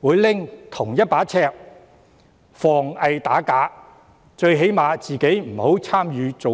會採用同一把尺防偽打假，最低限度他本人不要參與造假。